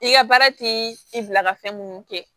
I ka baara ti i bila ka fɛn munnu kɛ